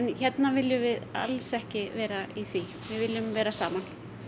hérna viljum við alls ekki vera í því við viljum vera saman